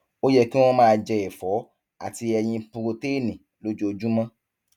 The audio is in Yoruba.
ó yẹ kí wọn máa jẹ ẹfọ àti ẹyin purotéènì lójoojúmọ